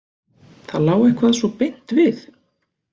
Það lá eitthvað svo beint við.